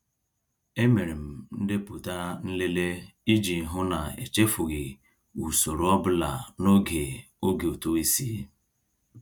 E mere m ndepụta nlele iji hụ na echefughị usoro ọbụla n'oge oge ụtụisi.